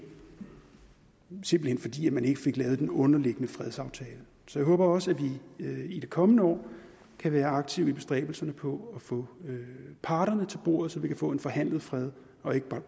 simpelt hen fordi man ikke fik lavet den underliggende fredsaftale så jeg håber også at vi i det kommende år kan være aktive i bestræbelserne på at få parterne til bordet så vi kan få en forhandlet fred og ikke